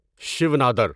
Shiv Nadir